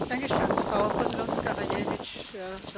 Pani przewodnicząca, pani komisarz, szanowni państwo!